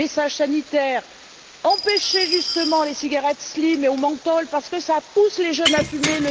messages sanitaires empêcher justement les cigarettes slim et au menthol, parce que cela pousse les jeunes à fumer.